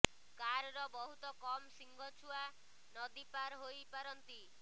କାରର ବହୁତ୍ କମ୍ ସିଂହ ଛୁଆ ନଦୀ ପାର ହୋଇ ପାରନ୍ତି